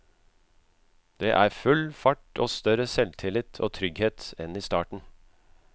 Det er full fart og større selvtillit og trygghet enn i starten.